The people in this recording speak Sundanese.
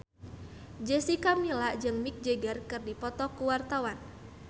Jessica Milla jeung Mick Jagger keur dipoto ku wartawan